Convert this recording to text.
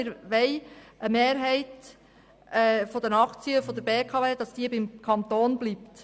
Wir wollen, dass eine Mehrheit der BKW-Aktien beim Kanton bleibt.